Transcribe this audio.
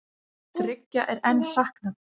Þriggja er enn saknað